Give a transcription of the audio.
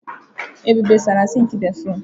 Ebube saara sịnkị béfrụm.